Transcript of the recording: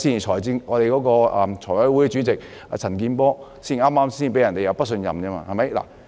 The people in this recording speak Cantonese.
財委會主席陳健波議員剛剛在星期一亦被提不信任議案。